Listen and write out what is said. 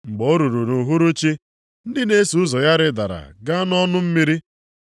Mgbe o ruru nʼuhuruchi, ndị na-eso ụzọ ya rịdara gaa nʼọnụ mmiri,